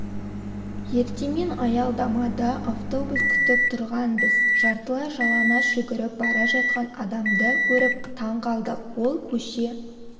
ертемен аялдамада автобус күтіп тұрғанбыз жартылай жалаңаш жүгіріп бара жатқан адамды көріп таң қалдық ол көше